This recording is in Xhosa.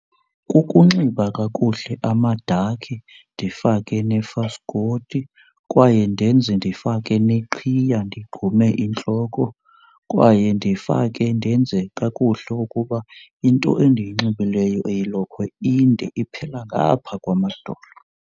Kukunxiba kakuhle amadakhi, ndifake nefaskothi kwaye ndenze ndifake neqhiya ndigqume intloko. Kwaye ndifake ndenze kakuhle ukuba into endiyinxibileyo eyilokhwe inde iphela ngaphaa kwamadolo.